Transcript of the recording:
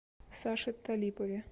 саше талипове